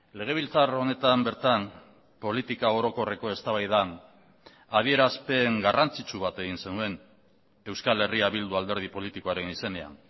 legebiltzar honetan bertan politika orokorreko eztabaidan adierazpen garrantzitsu bat egin zenuen euskal herria bildu alderdi politikoaren izenean